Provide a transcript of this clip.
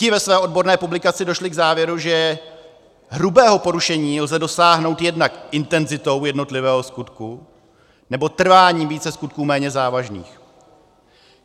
Ti ve své odborné publikaci došli k závěru, že hrubého porušení lze dosáhnout jednak intenzitou jednotlivého skutku, nebo trváním více skutků méně závažných.